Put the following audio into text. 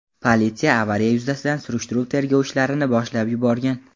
Politsiya avariya yuzasidan surishtiruv-tergov ishlarini boshlab yuborgan.